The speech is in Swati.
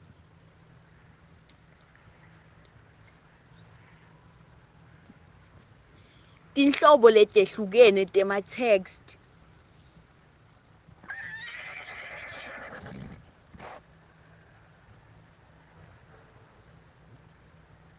tinhlobo letehlukene tematheksthi